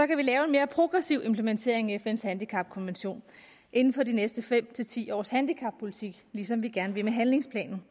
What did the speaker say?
kan lave en mere progressiv implementering af fns handicapkonvention inden for de næste fem ti års handicappolitik ligesom vi gerne vil med handlingsplanen